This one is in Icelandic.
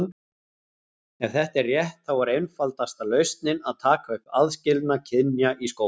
Ef þetta er rétt, þá er einfaldasta lausnin að taka upp aðskilnað kynja í skólum.